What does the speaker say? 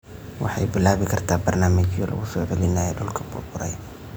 Waxay bilaabi kartaa barnaamijyo lagu soo celinayo dhulka burburay.